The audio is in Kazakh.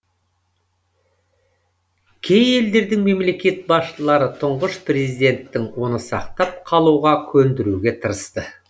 кей елдердің мемлекет басшылары тұңғыш президенттің оны сақтап қалуға көндіруге тырысты